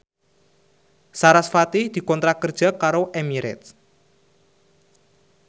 sarasvati dikontrak kerja karo Emirates